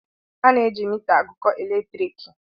A na-eji mita agụkọ elektriki.